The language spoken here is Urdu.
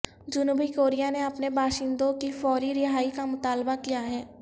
جنوبی کوریا نے اپنے باشندوں کی فوری رہائی کا مطالبہ کیا ہے